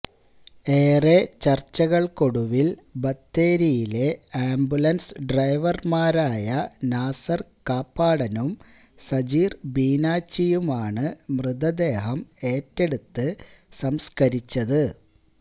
ഏറെ ചർച്ചകൾക്കൊടുവിൽ ബത്തേരിയിലെ ആംബുലൻസ് ഡ്രൈവർമാരായ നാസർ കാപ്പാടനും സജീർ ബീനാച്ചിയുമാണ് മൃതദേഹം ഏറ്റെടുത്ത് സംസ്കരിച്ചത്